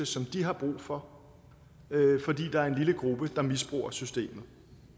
som de har brug for fordi der er en lille gruppe der misbruger systemet